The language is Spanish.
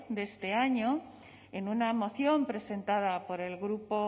de este año en una moción presentada por el grupo